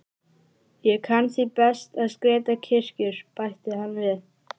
Ég kann því best að skreyta kirkjur, bætti hann við.